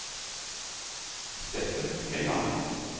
Steffen Helland